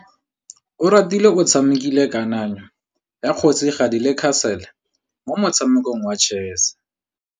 Oratile o tshamekile kananyô ya kgosigadi le khasêlê mo motshamekong wa chess.